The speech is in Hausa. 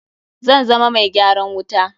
Zan zama mai gyaran wuta.